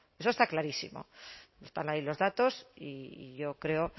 eso está clarísimo están ahí los datos y yo creo